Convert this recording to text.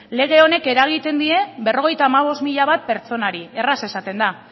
lege honek eragiten die berrogeita hamabost mila pertsonari erraz esaten da